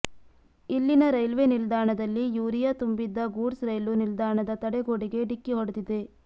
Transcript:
ಇಲ್ಲಿನ ರೈಲ್ವೆ ನಿಲ್ದಾಣದಲ್ಲಿ ಯೂರಿಯಾ ತುಂಬಿದ್ದ ಗೂಡ್ಸ್ ರೈಲು ನಿಲ್ದಾಣದ ತಡೆಗೋಡೆಗೆ ಡಿಕ್ಕಿ ಹೊಡಿದಿದೆ